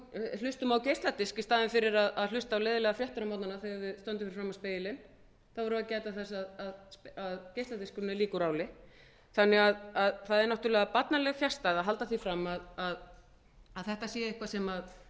hlustum á geisladisk í staðinn fyrir að hlusta á leiðinlegar fréttir á morgnana þegar við stöndum fyrir framan spegilinn þá erum við að gæta þess að geisladiskur er mjög líkur áli þannig að það er náttúrlega barnaleg fjarstæða að halda því fram að þetta sé eitthvað